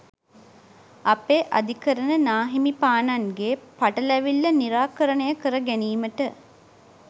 අපේ අධිකරණ නාහිමිපාණන්ගේ පටැලවිල්ල නිරාකරණය කර ගැනීමට